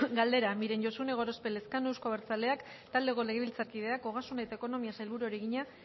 galdera miren josune gorospe elezkano euzko abertzaleak taldeko legebiltzarkideak ogasun eta ekonomiako sailburuari egina